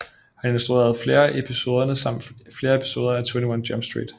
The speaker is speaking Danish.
Han instruerede flere episoderne samt flere episoder af 21 Jump Street